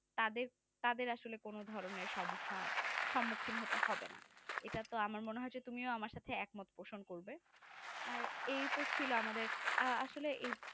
তাদের তাদের আসলে কোনো ধরনের সমস্যা, সম্মুখীন হতে হবে না এটা তো আমার মনে হচ্ছে তুমি আমার সাথে একমত পোষণ করবে আর এইতো ছিল আমাদের আ আসলে